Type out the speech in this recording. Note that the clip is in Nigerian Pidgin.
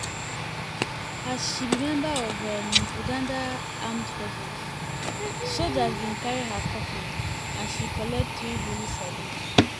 as she be member of um uganda armed forces sojas um bin carry her coffin and she collect three-volley salute.